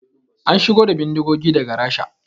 An shigo da bindigogin daga Rasha